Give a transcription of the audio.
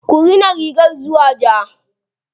Ku rina rigar zuwa ja.